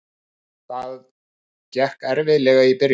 Það gekk erfiðlega í byrjun.